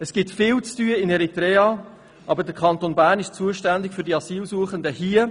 In Eritrea gibt es viel zu tun, aber der Kanton Bern ist zuständig für die Asylsuchenden hier.